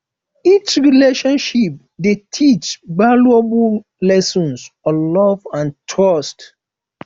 each relationship dey teach valuable lessons on love and trust